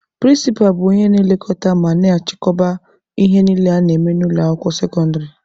Prịnsịpa bụ onye na-elekọta ma na-achịkọba ihe niile a na-eme na ụlọ akwụkwọ sekọndịrị.